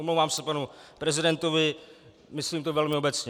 Omlouvám se panu prezidentovi, myslím to velmi obecně.